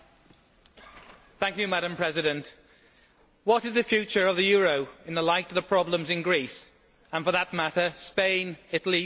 Madam President, what is the future of the euro in the light of the problems in Greece and, for that matter, Spain, Italy, Portugal and Ireland?